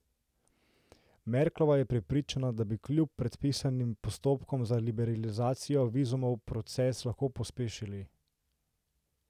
Merklova je prepričana, da bi kljub predpisanim postopkom za liberalizacijo vizumov proces lahko pospešili.